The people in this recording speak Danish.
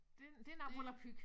Det det noget volapyk